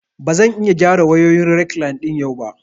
Ba zan iya gyara wayoyin rekline ɗin yau ba